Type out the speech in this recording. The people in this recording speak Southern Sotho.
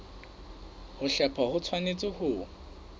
ho hlepha ho tshwanetse ho